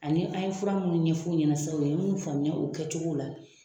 Ani an ye fura minnu ɲɛfɔ u ɲɛna sisan ye minnu faamuya o kɛcogo la